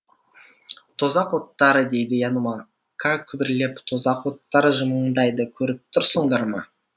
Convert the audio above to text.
тозақ оттары дейді янумака күбірлеп тозақ оттары жымыңдайды көріп тұрсыңдар ма